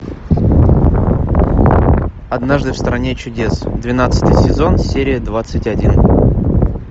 однажды в стране чудес двенадцатый сезон серия двадцать один